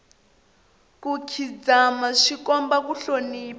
ku khidzama swi komba ku hlonipha